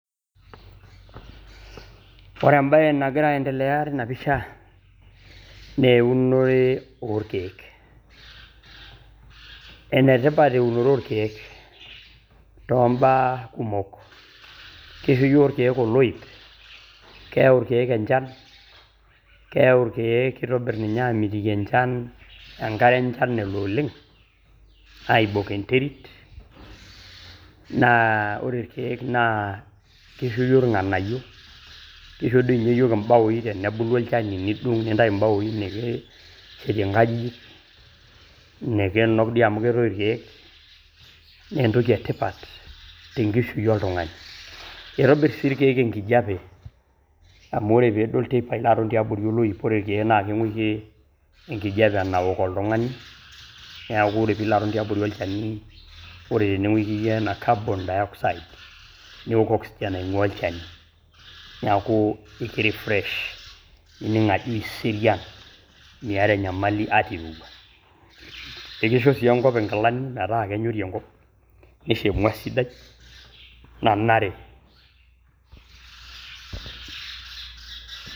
Ore embaye nagira aendelea teina pisha naa eunore oo lkeek, enetipat einore olkeek too mbaa kumok, keisho yook ilkeek oloip, keyau ilkeek inchan, keyau ilkeek keitobir ninye aamitiki inchan enkare enchan elo oleng aibok enterit naa ore ilkeek naa keisho yook ilng'anaiyo, keisho doi ninye yook imbaooi tenebulu ilcheni nidung' nintai imbaooi nikishetie enkajijik, nikinuk dei amu keitoi olkeek, naa entoki etipat te inkishui oltungani, eitobir si lkeek inkejepe amu ore piiton te abori e loip ore etii naa kingorie enkijepe enaok oltungani, neaku ore pilotu abori olchani ore nikiiye anaa carbon dioxide niok oxygen naing'ua ilcheni nikirefresh nining' ajo iserian mieat enyamali ata eirewua, keicho sii oshi enkop enkilani metaa kenyori enkop neisho emwaa sidai nanare.